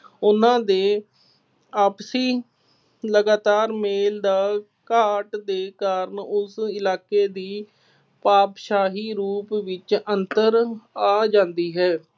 ਉਹਨਾ ਦੇ ਆਪਸੀ ਲਗਾਤਾਰ ਮੇਲ ਦਾ ਘਾਟ ਦੇ ਕਾਰਨ ਉਸ ਇਲਾਕੇ ਦੀ ਪਾਤਸ਼ਾਹੀ ਰੂਪ ਵਿੱਚ ਅੰਤਰ ਆ ਜਾਂਦੀ ਹੈ।